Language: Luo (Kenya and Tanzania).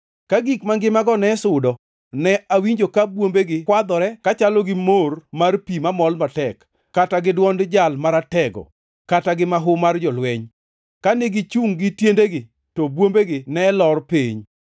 Ka gik mangimago ne sudo, ne awinjo ka bwombegi kwadhore, ka chalo gi mor mar pi mamol matek, kata gi dwond Jal Maratego, kata gi mahu mar jolweny. Kane gichungʼ gi tiendgi, to bwombegi ne lor piny.